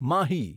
Mahi